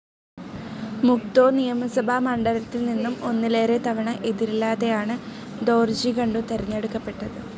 മുക്തോ നിയമസഭാ മണ്ഡലത്തിൽ നിന്നും ഒന്നിലേറെ തവണ എതിരില്ലാതെയാണ് ദോർജി ഖണ്ഡു തെരഞ്ഞെടുക്കപ്പെട്ടത്.